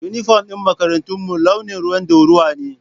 Inifom ɗin makarantarmu launin ruwan ɗorawa ne